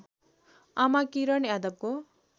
आमा किरण यादवको